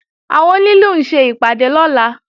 Àwọn onílù ń ṣe ìpàdé lọ́la